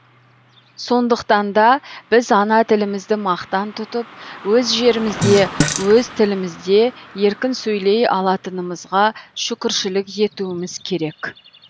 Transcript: сондықтанда біз ана тілімізді мақтан тұтып өз жерімізде өз тілімізде еркін сөйлей ала алатынымызға шүкіршілік етуіміз керек